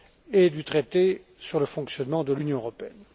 et sur le traité sur le fonctionnement de l'Union européenne.